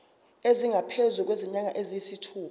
esingaphezu kwezinyanga eziyisithupha